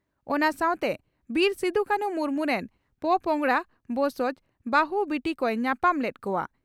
ᱚᱱᱟ ᱥᱟᱣᱛᱮ ᱵᱤᱨ ᱥᱤᱫᱩᱼᱠᱟᱹᱱᱦᱩ ᱢᱩᱨᱢᱩ ᱨᱮᱱ ᱯᱳᱯᱚᱸᱜᱽᱲᱟ (ᱵᱚᱸᱥᱚᱡᱽ) ᱵᱟᱹᱦᱩ, ᱵᱤᱴᱤ ᱠᱚᱭ ᱧᱟᱯᱟᱢ ᱞᱮᱫ ᱠᱚᱣᱟ ᱾